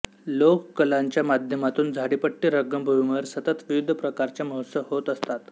लोककलांच्या माध्यमातून झाडीपट्टी रंगभूमीवर सतत विविध प्रकारचे महोत्सव होत असतात